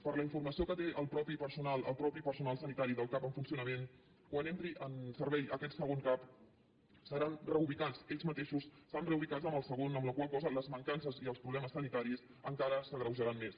per la informació que té el mateix personal sanitari del cap en funcionament quan entri en servei aquest segon cap seran reubicats ells mateixos seran reubicats en el segon amb la qual cosa les mancances i els problemes sanitaris encara s’agreujaran més